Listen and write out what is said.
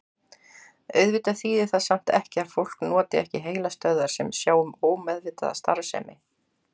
Auðvitað þýðir það samt ekki að fólk noti ekki heilastöðvar sem sjá um ómeðvitaða starfsemi.